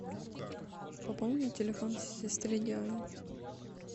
пополни телефон сестре диане